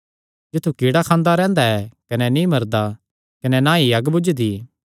जित्थु कीड़ा खांदा रैंह्दा कने नीं मरदा कने ना ई अग्ग बुझदी